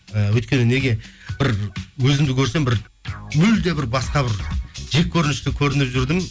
і өйткені неге бір өзімді көрсем бір мүлде бір басқа бір жеккөрінішті көрініп жүрдім